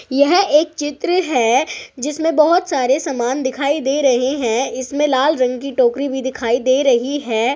यह एक चित्र है जिसमें बहोत सारे समान दिखाई दे रहे है इसमें लाल रंग की टोकरी भी दिखाई दे रही है।